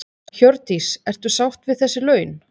Hjördís: Ertu sátt við þessi laun?